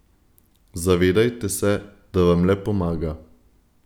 Zavedajte se, da vam le pomaga.